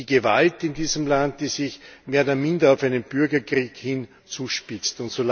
Das ist die Gewalt in diesem Land, die sich mehr oder minder auf einen Bürgerkrieg hin zuspitzt.